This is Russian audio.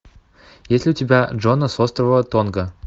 есть ли у тебя джона с острова тонга